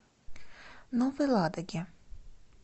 новой ладоги